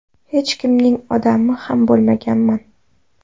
Hech kimning ‘odami’ ham bo‘lmaganman.